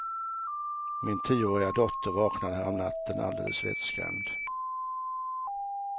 Min tioåriga dotter vaknade häromnatten alldeles vettskrämd.